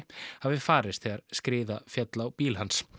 hafi farist þegar skriða féll á bíl hans